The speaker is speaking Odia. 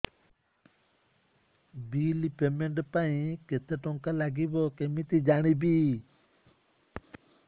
ବିଲ୍ ପେମେଣ୍ଟ ପାଇଁ କେତେ କେତେ ଟଙ୍କା ଲାଗିବ କେମିତି ଜାଣିବି